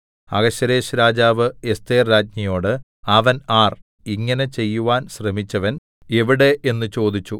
അഹശ്വേരോശ്‌ രാജാവ് എസ്ഥേർ രാജ്ഞിയോട് അവൻ ആർ ഇങ്ങനെ ചെയ്യുവാൻ ശ്രമിച്ചവൻ എവിടെ എന്ന് ചോദിച്ചു